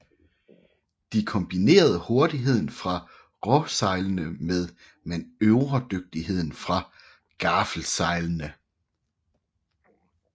De kombinerede hurtigheden fra råsejlene med manøvredygtigheden fra gaffelsejlene